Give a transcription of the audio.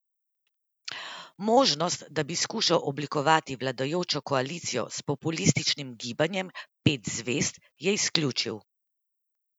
Možnost, da bi skušal oblikovati vladajočo koalicijo s populističnim Gibanjem pet zvezd, je izključil.